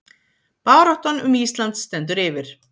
Baráttan um Ísland stendur yfir